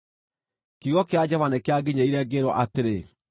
Kiugo kĩa Jehova nĩkĩanginyĩrĩire, ngĩĩrwo atĩrĩ: